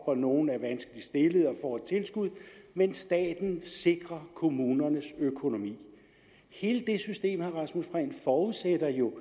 og nogle er vanskeligt stillede og får et tilskud men staten sikrer kommunernes økonomi hele det system forudsætter jo